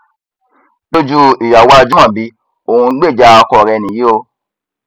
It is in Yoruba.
lójú ìyàwó ajímọbí òun ń gbèjà ọkọ rẹ nìyí o